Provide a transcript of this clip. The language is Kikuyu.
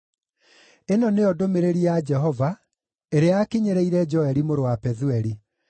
Ĩno nĩyo ndũmĩrĩri ya Jehova, ĩrĩa yakinyĩrĩire Joeli mũrũ wa Pethueli.